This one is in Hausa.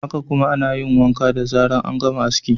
Haka kuma, ana yin wanka da zarar an gama aski.